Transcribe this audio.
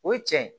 O ye cɛn ye